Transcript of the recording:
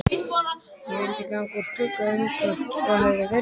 Ég vildi ganga úr skugga um hvort svo hefði verið.